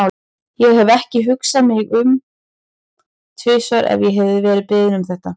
Ég hefði ekki hugsað mig um tvisvar ef ég hefði verið beðin um þetta.